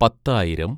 പത്തായിരം